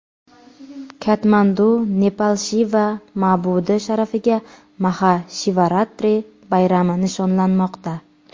Katmandu, Nepal Shiva ma’budi sharafiga Maha Shivaratri bayrami nishonlanmoqda.